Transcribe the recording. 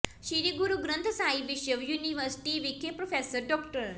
ਸ਼੍ਰੀ ਗੁਰੂ ਗ੍ੰਥ ਸਾਹਿਬ ਵਿਸ਼ਵ ਯੂਨੀਵਰਸਿਟੀ ਵਿਖੇ ਪ੍ਰਰੋਫੈਸਰ ਡਾ